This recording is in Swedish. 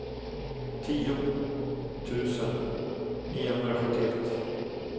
tio tusen niohundrasjuttioett